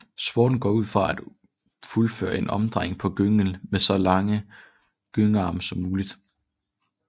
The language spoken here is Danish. Sporten går ud på at fuldføre en omdrejning på gynge med så lange gyngearme som muligt